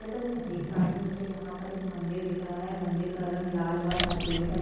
जैसा की मैं देख पा रही हूँ मुझे यहाँ पर एक मंदिर दिख रहा है मंदिर का रंग लाल व सफ़ेद है।